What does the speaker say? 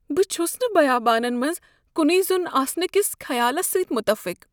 بہٕ چھس نہٕ بیابانس منٛز کنے زوٚن آسنہٕ کس خیالس سۭتۍ متعفق۔